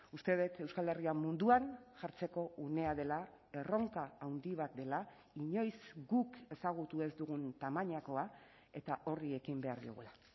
uste dut euskal herria munduan jartzeko unea dela erronka handi bat dela inoiz guk ezagutu ez dugun tamainakoa eta horri ekin behar diogula